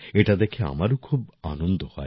এটা দেখে আমারও খুব আনন্দ হয়